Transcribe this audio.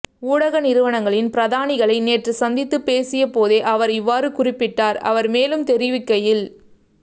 ஊடக நிறுவனங்களின் பிரதானிகளை நேற்று சந்தித்துப் பேசியபோதே அவர் இவ்வாறு குறிப்பிட்டார் அவர் மேலும் தெரிவிக்கையில்